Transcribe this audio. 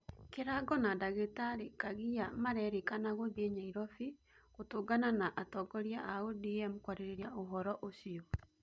Kĩrago na ndagĩtarĩ kagia marerikana gũthie Nyairobi gũtũngana na atongoria a ODM kwaririria ũhoro ũcio